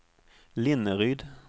Linneryd